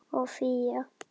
og Fía.